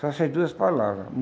Só essas duas palavras.